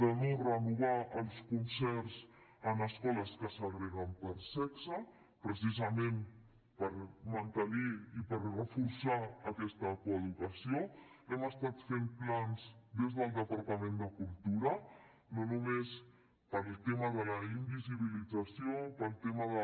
de no renovar els concerts en escoles que segreguen per sexe precisament per mantenir i per reforçar aquesta coeducació hem estat fent plans des del departament de cultura no només pel tema de la invisibilització pel tema de